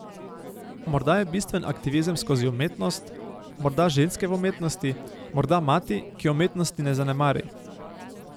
Morda je bistven aktivizem skozi umetnost, morda ženske v umetnosti, morda mati, ki umetnosti ne zanemari...